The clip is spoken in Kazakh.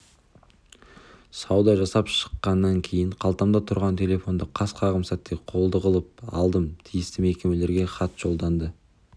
сауда жасап шыққаннан кейін қалтамда тұрған телефонды қас-қағым сәтте қолды қылып алдым тиісті мекемелерге хат жолданды